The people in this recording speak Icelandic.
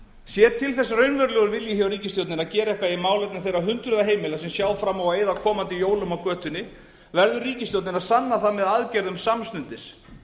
sé til þess raunverulegur vilji hjá ríkisstjórninni að gera eitthvað í málefnum þeirra hundruða heimila sem sjá fram á að eyða komandi jólum á götunni verður ríkisstjórnin að sanna það með aðgerðum samstundis